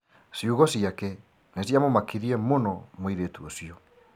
Ciugo ciake nĩ cia mũmakirie mũno mũirĩtu ũcio.